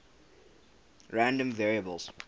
random variables